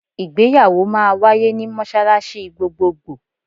Ìgbéyàwó máa wáyé ní mọ́ṣáláṣí gbogbogbò.